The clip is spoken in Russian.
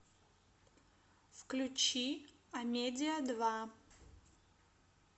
включи амедиа два